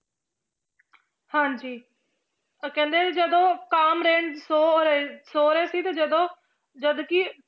ਹਾਂਜੀ ਤਾਂ ਕਹਿੰਦੇ ਜਦੋਂ ਸੌ ਰਹੇ, ਸੌ ਰਹੇ ਸੀ ਤੇ ਜਦੋਂ ਜਦ ਕਿ